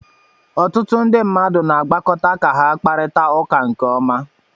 Ọtụtụ ndị mmadụ na-agbakọta ka ha kparịta ụka nke ọma